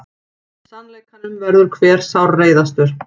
Sannleikanum verður hver sárreiðastur.